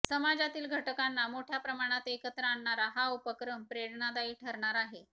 समाजातील घटकांना मोठ्या प्रमाणात एकत्र आणणारा हा उपक्रम प्रेरणादायी ठरणार आहे